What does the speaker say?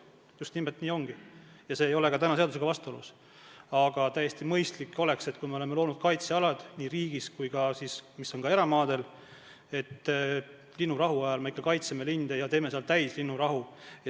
Just nimelt nii ongi, see ei ole seadusega vastuolus, aga mõistlik oleks, et kui me oleme loonud kaitsealad nii riigi- kui ka eramaadel, siis linnurahu ajal me ikka kaitseksime linde ja kehtestaksime seal täieliku linnurahu.